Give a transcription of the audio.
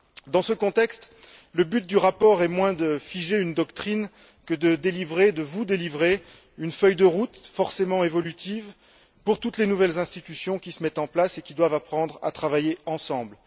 Dans ce contexte, le but du rapport est moins de figer une doctrine que de vous délivrer une feuille de route forcément évolutive, pour toutes les nouvelles institutions qui se mettent en place et qui doivent apprendre à travailler ensemble.